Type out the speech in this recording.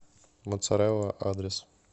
моццарелла адрес